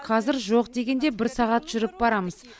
қазір жоқ дегенде бір сағат жүріп барамыз